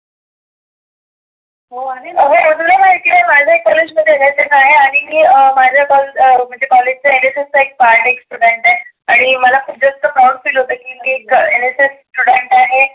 हो आहे ना आग कॉलेज मध्ये एन एस एस आहे आणि मी अं माझ्या कॉलेज चा एन एस एस चा एक पार्ट आहे एक स्टुडन्ट आहे आणि मला खुप जास्त proud feel होतं की मी एक एन एस एस स्टुडन्ट आहे